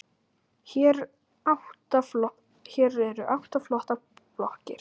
Hér eru átta flottar blokkir.